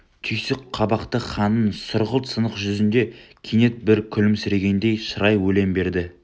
түйсік қабақты ханның сұрғылт сынық жүзінде кенет бір күлімсірегендей шырай елең берді